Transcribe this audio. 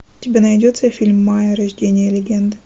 у тебя найдется фильм майя рождение легенды